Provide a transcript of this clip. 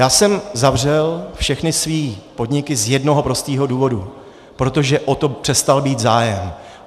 Já jsem zavřel všechny své podniky z jednoho prostého důvodu, protože o to přestal být zájem.